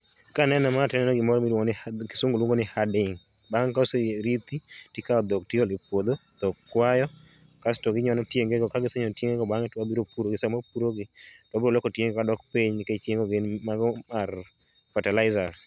Kaneno ma taneno gimoro miluongo ni, kisungu luongo ni herding. Bang' ka oserithi tikao dhok tiolo e puodho, dhok kwayo kasto ginyono tienge go ka gisenyono tienge go bang'e to wabiro puro gi, sama wapuro gi wabiro loko tienge go kadok piny nikech tienge go gin, mago are fertilizer